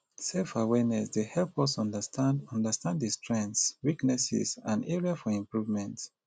selfawareness dey help us to understand understand di strengths weaknesses and areas for improvement